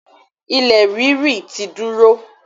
ilẹ̀ ríri ti dúró.